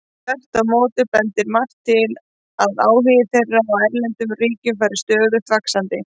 Þvert á móti bendir margt til að áhugi þeirra á erlendum ríkjum fari stöðugt vaxandi.